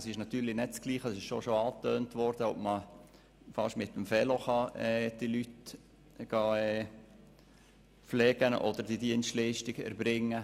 Wie bereits angetönt, ist es natürlich nicht das Gleiche, wenn man die Leute mit dem Fahrrad besuchen kann, um die Dienstleistung zu erbringen.